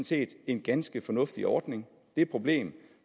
set en ganske fornuftig ordning det problem